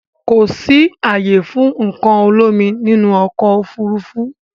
Kò sì ààyè fún nǹkan olómi nínú ọkọ̀ Òfurufú